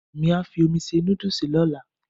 Èmí á fi omi se nódùsì lọ́la